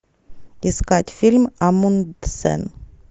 искать фильм амундсен